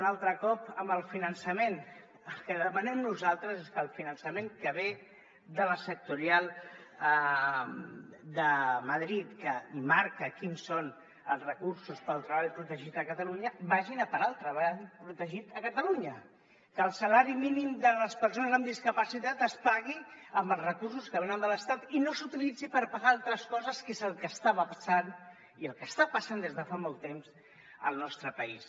un altre cop amb el finançament el que demanem nosaltres és que el finançament que ve de la sectorial de madrid que marca quins són els recursos per al treball protegit a catalunya vagin a parar al treball protegit a catalunya que el salari mínim de les persones amb discapacitat es pagui amb els recursos que venen de l’estat i no s’utilitzin per pagar altres coses que és el que estava passant i el que està passant des de fa molt temps al nostre país